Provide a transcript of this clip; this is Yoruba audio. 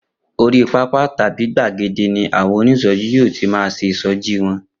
Orí pápá tàbí gbàgede ni àwọn onísọjí yóò ti máa ṣe ìṣọjí wọn.